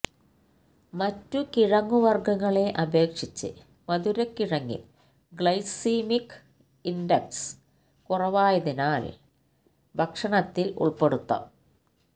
മറ്റു കിഴങ്ങുവർഗങ്ങളെ അപേക്ഷിച്ച് മധുരക്കിഴങ്ങിൽ ഗ്ലൈസീമിക് ഇൻഡക്സ് കുറവായതിനാൽ ഭക്ഷണത്തിൽ ഉൾപ്പെടുത്താം